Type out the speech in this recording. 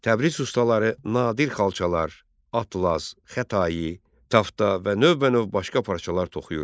Təbriz ustaları nadir xalçalar, atlas, xətai, tafta və növbənöv başqa parçalar toxuyurdular.